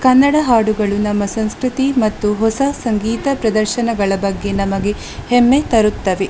ಕನ್ನಡ ಹಾಡುಗಳು ನಮ್ಮ ಸಂಸ್ಕೃತಿ ಮತ್ತು ಹೊಸ ಸಂಗೀತ ಪ್ರದರ್ಶನಗಳ ಬಗ್ಗೆ ನಮಗೆ ಹೆಮ್ಮೆ ತರುತ್ತವೆ.